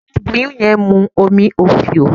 Àwọn àláboyún yẹn mú omí ofío